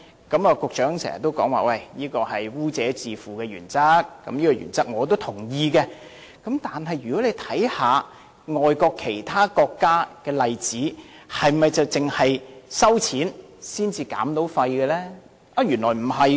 局長經常說這是基於"污者自付"的原則，我是同意這項原則的，但大家可看看其他國家的例子，是否只有收費才可減廢？